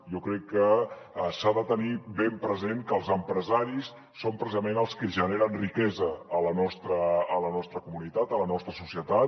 jo crec que s’ha de tenir ben present que els empresaris són precisament els que generen riquesa a la nostra comunitat a la nostra societat